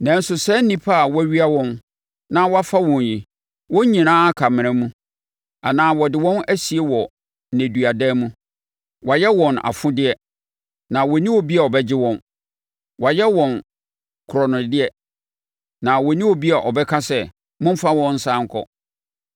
Nanso saa nnipa a wɔawia wɔn na wɔafo wɔn yi, wɔn nyinaa aka amena mu anaa wɔde wɔn asie wɔ nneduadan mu. Wɔayɛ wɔn afodeɛ na wɔnni obi a ɔbɛgye wɔn; wɔayɛ wɔn korɔnodeɛ na wɔnni obi a ɔbɛka sɛ, “Momfa wɔn nsane nkɔ.”